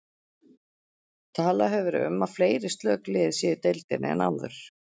Talað hefur verið um að fleiri slök lið séu í deildinni en áður.